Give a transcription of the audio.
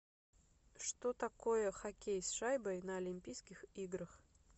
что такое хоккей с шайбой на олимпийских играх